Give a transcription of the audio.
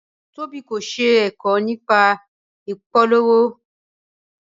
Tobi kò ṣe ẹ̀kọ́ nípa ìpolówó.